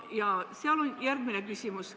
Ja seal tekib järgmine küsimus.